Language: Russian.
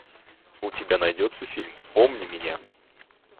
у тебя найдется фильм помни меня